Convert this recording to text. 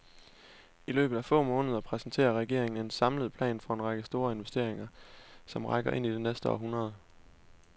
I løbet af få måneder præsenterer regeringen en samlet plan for en række store investeringer, som rækker ind i det næste århundrede.